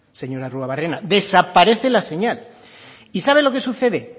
señor arruabarrena desaparece la señal y sabe lo que sucede